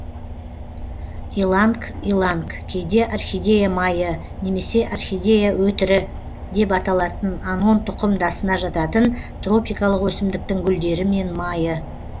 иланг иланг кейде орхидея майы немесе орхидея өтірі деп аталатын анон тұқымдасына жататын тропикалық өсімдіктің гүлдері мен майы